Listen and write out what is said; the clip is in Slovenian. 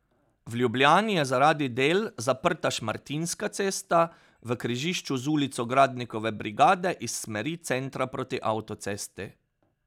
V Ljubljani je zaradi del zaprta Šmartinska cesta, v križišču z Ulico Gradnikove Brigade iz smeri centra proti avtocesti.